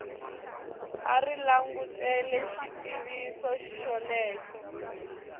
a ri langutele xitiviso xolexo